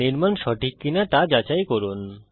নির্মাণ সঠিক কিনা সেটা যাচাই করুন